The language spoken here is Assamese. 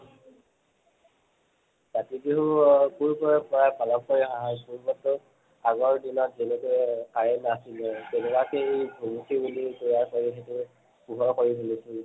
কাতি বিহু অ সৰুৰ পৰাই পালন কৰি আহা হৈছে মাত্ৰ আহত দিনত যেনেকে current নাছিলে তেনেকুৱাকে ভুমুকি বুলি কোৱা হয় সেইটো পোহৰ কৰি তুলিছিল